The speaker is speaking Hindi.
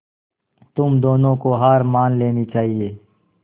तुम दोनों को हार मान लेनी चाहियें